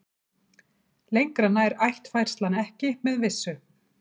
Lengra nær ættfærslan ekki með vissu.